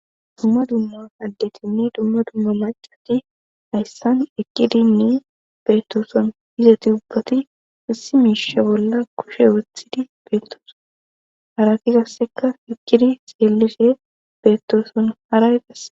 dumma dumma addetinni dumma dumma macati hayssan eqqidinni beettoson izati ubbati issi miisha bolla kushe wethidi beettooso harati qasseka fikkidi seellife beettoson haraiqae